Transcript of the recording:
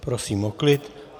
Prosím o klid.